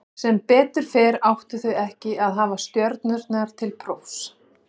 Sem betur fer áttu þau ekki að hafa stjörnurnar til prófs.